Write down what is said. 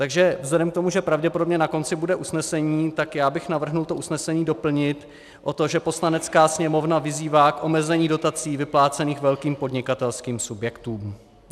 Takže vzhledem k tomu, že pravděpodobně na konci bude usnesení, tak já bych navrhl to usnesení doplnit o to, že Poslanecká sněmovna vyzývá k omezení dotací vyplácených velkým podnikatelským subjektům.